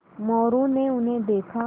मोरू ने उन्हें देखा